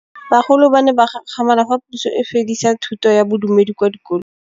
Bagolo ba ne ba gakgamala fa Pusô e fedisa thutô ya Bodumedi kwa dikolong.